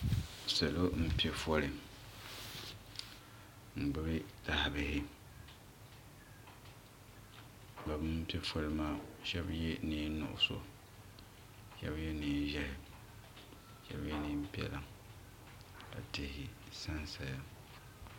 Salo n pɛ foli n gbubi yaha bihi bini pɛ fole maa shɛba ye nɛɛn nuɣiso shɛba ye nɛɛn zɛhi shɛba ye nɛɛn piɛlla ka tihi sa n saya.